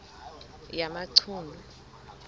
yamachunu